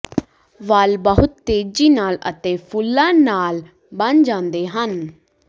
ਵਾਲ ਬਹੁਤ ਤੇਜ਼ੀ ਨਾਲ ਅਤੇ ਫੁੱਲਾਂ ਨਾਲ ਬਣ ਜਾਂਦੇ ਹਨ